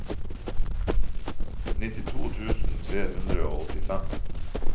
nittito tusen tre hundre og åttifem